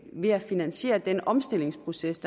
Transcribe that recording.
ved at finansiere den omstillingsproces